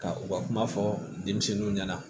Ka u ka kuma fɔ denmisɛnninw ɲɛna